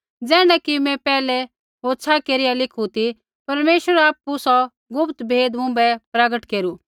ज़ैण्ढा कि मैं पैहलै होछ़ा केरिया लिखू ती परमेश्वरै आपु सौ गुप्त भेद मुँभै प्रगट केरू